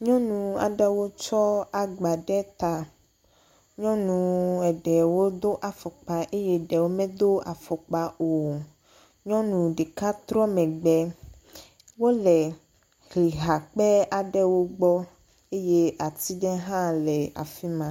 Nyɔnu aɖewo tsɔ agba ɖe ta. Nyɔnu eɖewo do afɔkpa eye eɖewo medo afɔkpa o. nyɔnu ɖeka trɔ mgbe. Wo le hlihakpe aɖewo gbɔ eye ati ɖe hã le afima me.